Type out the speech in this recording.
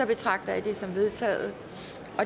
betragter jeg dette som vedtaget